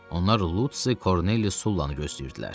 Onlar Lutsi Korneliy Sullanı gözləyirdilər.